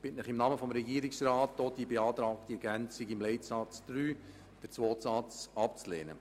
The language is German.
Ich bitte Sie im Namen des Regierungsrats, die beantragte Ergänzung von Leitsatz 3 um einen zweiten Satz abzulehnen.